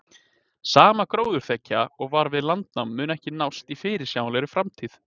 Sama gróðurþekja og var við landnám mun ekki nást í fyrirsjáanlegri framtíð.